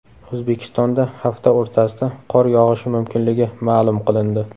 O‘zbekistonda hafta o‘rtasida qor yog‘ishi mumkinligi ma’lum qilindi.